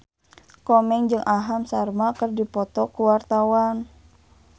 Komeng jeung Aham Sharma keur dipoto ku wartawan